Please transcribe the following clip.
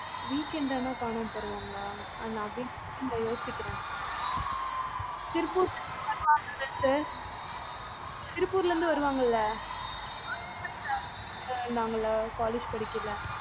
weekend ஆனா காணாமப்போயிடுவாங்களா? நவீன் பத்தி நா யோசிக்கிறன். திருப்பூர் ல இருந்து வருவாங்கல sir திருப்பூர் ல இருந்து வருவாங்கள்ள college படிக்கைல